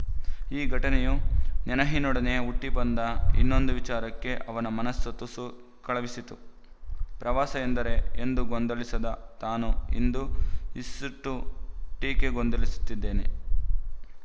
ಈ ಘಟನೆಯು ನೆನಹಿನೊಡನೆಯೇ ಹುಟ್ಟಿ ಬಂದ ಇನ್ನೊಂದು ವಿಚಾರಕ್ಕೆ ಅವನ ಮನಸ್ಸು ತುಸು ಕಳವಳಿಸಿತು ಪ್ರವಾಸ ಎಂದರೆ ಎಂದೂ ಗೊಂದಲಿಸದ ತಾನು ಇಂದು ಇಷೆ್ಟೀಕೆ ಗೊಂದಲಿಸುತ್ತಿದ್ದೇನೆ